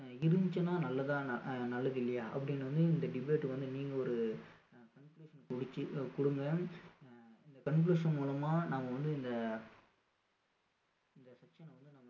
அஹ் இருந்துச்சுன்னா நல்லதா அஹ் நல்லது இல்லையா அப்படின்னு வந்து இந்த debate வந்து நீங்க ஒரு அஹ் conclusion கொடுங்க அஹ் இந்த conclusion மூலமா நாம வந்து இந்த இந்த